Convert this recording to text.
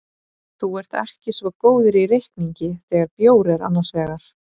Þú ert ekki svo góður í reikningi þegar bjór er annars vegar.